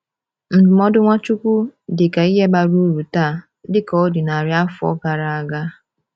Ndụmọdụ Nwachukwu dị ka ihe bara uru taa dịka ọ dị narị afọ gara aga.